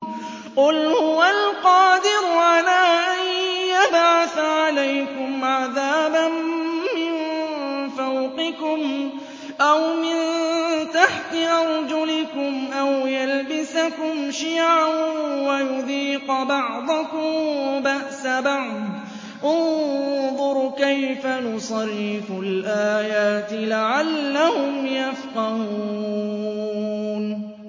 قُلْ هُوَ الْقَادِرُ عَلَىٰ أَن يَبْعَثَ عَلَيْكُمْ عَذَابًا مِّن فَوْقِكُمْ أَوْ مِن تَحْتِ أَرْجُلِكُمْ أَوْ يَلْبِسَكُمْ شِيَعًا وَيُذِيقَ بَعْضَكُم بَأْسَ بَعْضٍ ۗ انظُرْ كَيْفَ نُصَرِّفُ الْآيَاتِ لَعَلَّهُمْ يَفْقَهُونَ